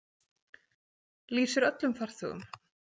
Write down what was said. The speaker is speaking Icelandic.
Lýsir öllum farþegum.